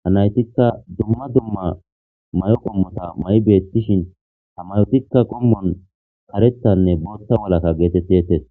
ha naytikka dumma dumma may'oo qommotta may'idi beettishin ha mayottikka qommon karettanne boothta malatta geetettetes